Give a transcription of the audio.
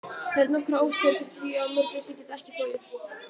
Það eru nokkrar ástæður fyrir því að mörgæsir geta ekki flogið.